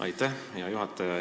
Aitäh, hea juhataja!